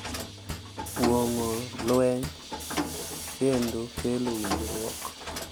Kuong’o lweny kendo kelo winjruok.